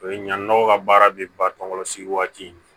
O ye ɲangiw ka baara de ba tɔ sigi waati